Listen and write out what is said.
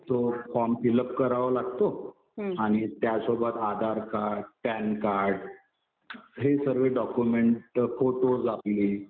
तो form fill up करावा लागतो. आणि त्यासोबत आधार कार्ड, पॅन कार्ड हे सगळे डॉक्युमेंट्स, फोटोज आपले